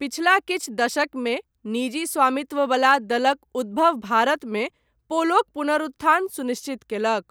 पिछला किछु दशकमे निजी स्वामित्व बला दलक उद्भव भारतमे पोलोक पुनरुत्थान सुनिश्चित कयलक।